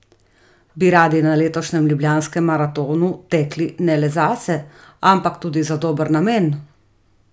Bi radi na letošnjem Ljubljanskem maratonu tekli ne le zase, ampak tudi za dober namen?